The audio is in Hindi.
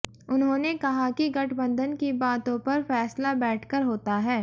उन्होंने कहा कि गठबंधन की बातों पर फैसला बैठकर होता है